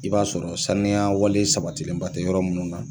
I b'a sɔrɔ saniya wale sabatilenba tɛ yɔrɔ munnu na